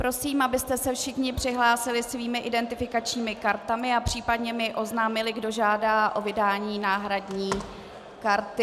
Prosím, abyste se všichni přihlásili svými identifikačními kartami a případně mi oznámili, kdo žádá o vydání náhradní karty.